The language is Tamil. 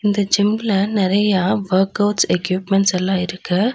இந்த ஜிம்ல நெறையா ஒர்க்அவுட்ஸ் எக்யூப்மெண்ட்ஸ்ஸல்லா இருக்கு.